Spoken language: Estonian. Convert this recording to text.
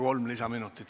Kolm lisaminutit.